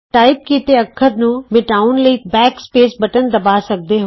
type ਕੀਤੇ ਅੱਖਰ ਨੂੰ ਮਿਟਾਉਣ ਲਈ ਤੁਸੀਂ ਬੈਕ ਸਪੈਸ ਬਟਨ ਦਬਾ ਸਕਦੇ ਹੋ